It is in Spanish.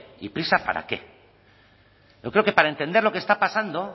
y prisa para qué yo creo que para entender lo que está pasando